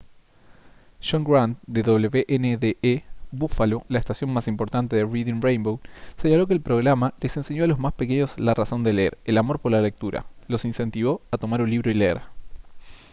john grant de wned buffalo la estación más importante de reading rainbow señaló que el programa «les enseñó a los más pequeños la razón de leer [] el amor por la lectura; los incentivó a tomar un libro y leer»